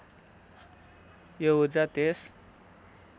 यो ऊर्जा त्यस